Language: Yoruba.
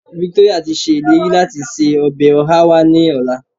Victoria ti ṣèlérí láti se ọbẹ̀ ọhá wá lọ́la.